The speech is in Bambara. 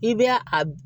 I bɛ a